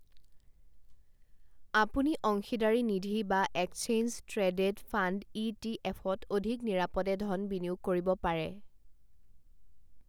আপুনি অংশীদাৰী নিধি বা exchange traded fund E T এফত অধিক নিৰাপদে ধন বিনিয়োগ কৰিব পাৰে।